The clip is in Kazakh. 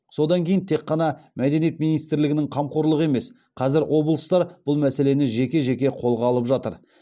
содан кейін тек қана мәдениет министрлігінің қамқорлығы емес қазір облыстар бұл мәселені жеке жеке қолға алып жатыр